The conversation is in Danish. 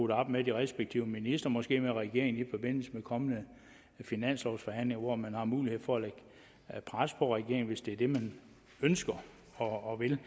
det op med de respektive ministre måske med regeringen i forbindelse med de kommende finanslovsforhandlinger hvor man har mulighed for at lægge pres på regeringen hvis det er det man ønsker og vil